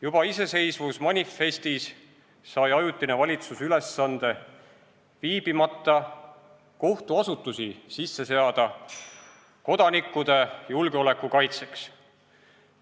Juba iseseisvusmanifestis sai Ajutine Valitsus ülesande viibimata kohtuasutusi sisse seada kodanikkude julgeoleku kaitseks.